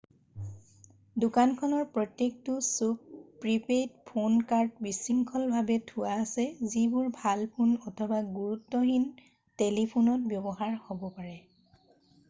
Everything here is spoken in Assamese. দোকানখনৰ প্ৰত্যেকটো চুক প্ৰি-পেইড ফোন কাৰ্ড বিশৃঙ্খলভাৱে থোৱা আছে যিবোৰ ভাল ফোন অথবা গুৰুত্বহীন টেলিফোনত ব্যৱহাৰ হ'ব পাৰে